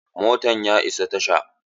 Motan ya iso tasha.